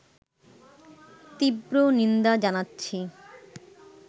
তীব্র নিন্দা জানাচ্ছি